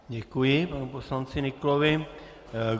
Děkuji panu poslanci Nyklovi.